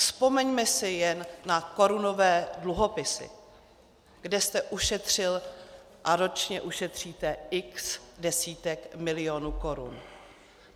Vzpomeňme si jen na korunové dluhopisy, kde jste ušetřil a ročně ušetříte x desítek milionů korun.